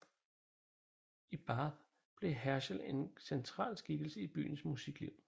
I Bath blev Herschel en central skikkelse i byens musikliv